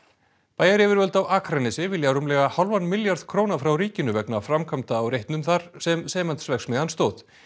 bæjaryfirvöld á Akranesi vilja rúmlega hálfan milljarð króna frá ríkinu vegna framkvæmda á reitnum þar sem Sementsverksmiðjan stóð